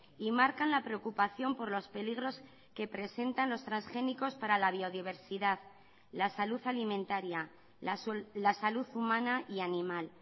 y marcan la preocupación por los peligros que presentan los transgénicos para la biodiversidad la salud alimentaria la salud humana y animal